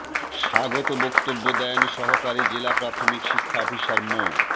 স্বাগত বক্তব্য দেন সহকারী জেলা প্রাথমিক শিক্ষা অফিসার মো